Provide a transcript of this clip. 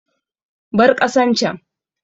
Bar ƙasan can!